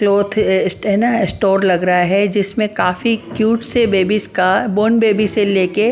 cloth है ना store लग रहा है जिसमें काफी क्यूट से बेबीज का बोर्न बेबीस से लेके --